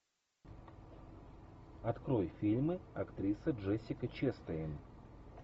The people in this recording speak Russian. открой фильмы актрисы джессика честейн